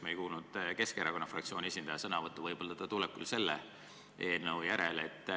Me ei kuulnud Keskerakonna fraktsiooni esindaja sõnavõttu, võib-olla tuleb see küll selle eelnõu järel.